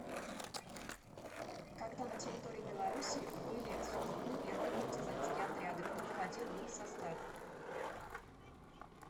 когда на территории беларуси были созданы первые партизанские отряды кто входил в их состав